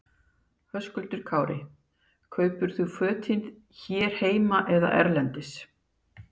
Höskuldur Kári: Kaupir þú fötin hér heima eða erlendis?